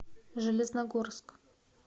железногорск